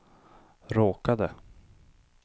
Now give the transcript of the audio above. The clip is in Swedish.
råkade